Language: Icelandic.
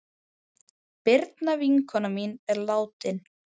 Birna vinkona mín er látin.